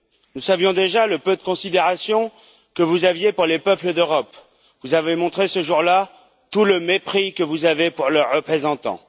Nous savions déjà le peu de considération que vous aviez pour les peuples d'Europe, vous avez montré ce jour là tout le mépris que vous avez pour leurs représentants.